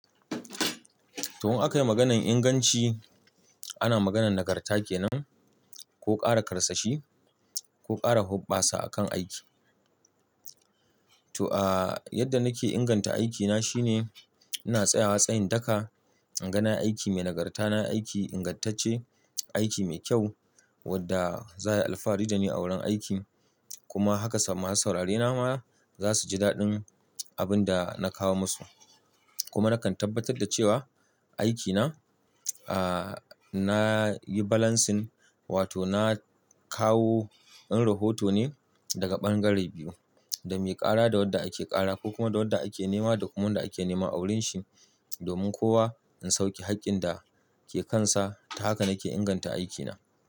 To, in aka yi maganan inganci, ana maganan nagarta ke nan ko ƙara karsashi ko ƙara huɓɓasa akan aiki. To, a, yadda nake inganta aikina shine ina tsayawa tsayin daka, inga na aiki mai nagarta, na aiki ingantacce, aiki mai kyau wadda za a yi alfahari da ni a wurin aiki kuma haka sama masu saurarena ma za su ji daɗin abin da na kawo musu. Kuma nakan tabbatar da cewa aikina, ah, nayi balancing wato na kawo, in rohoto ne daga ɓangare biyu, da mai ƙara da wadda ake ƙara ko kuma da wadda ake nema da kuma wanda ake nema a wurin shi domin kowa in sauke haƙƙin da ke kansa. Ta haka nake inganta aikina.